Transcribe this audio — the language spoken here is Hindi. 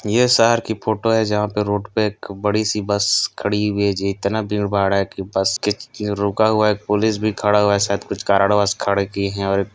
ये शहर की फ़ोटो है जहाँ पे रोड पे एक बड़ी- सी बस खड़ी हुई है जी इतना भीड़- भाड़ है कि बस के रोका हुआ है पुलिस भी खड़ा हुआ है शायद कुछ कारणवश खड़े किए है और एक --